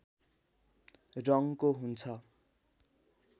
रङ्गको हुन्छ